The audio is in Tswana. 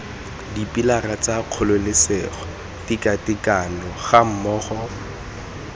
dipilara tsa kgololesego tekatekano gammogo